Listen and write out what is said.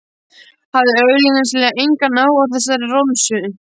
Hafði augsýnilega engan áhuga á þessari romsu.